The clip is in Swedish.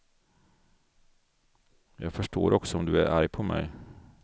Jag förstår också om du är arg på mig.